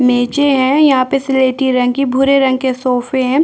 मेजे है यहाँ पे सिलेठी रंग के भूरे रंग के सोफे हैं।